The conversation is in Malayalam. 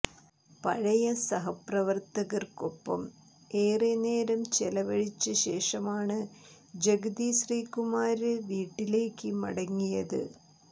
പഴയ സഹപ്രവവര്ത്തകര്ക്കൊപ്പം ഏറെ നേരെ ചെലവഴിച്ചശേഷമാണ് ജഗതി ശ്രീകുമാര് വീട്ടിലേക്ക് മടങ്ങിയത്